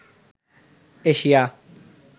Asia